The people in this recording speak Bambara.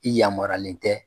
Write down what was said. I yamarualen tɛ.